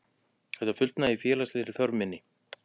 Þetta fullnægir félagslegri þörf minni.